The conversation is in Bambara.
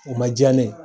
O ma diya ne ye